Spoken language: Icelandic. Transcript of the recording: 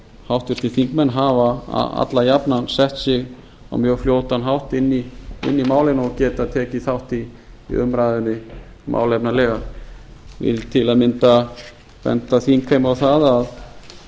háttvirtir þingmenn hafa alla jafnan sett sig á mjög fljótan hátt inn í málin og geta tekið þátt í umræðunni málefnalega ég vil til að mynda benda þingheimi á það að